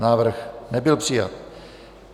Návrh nebyl přijat.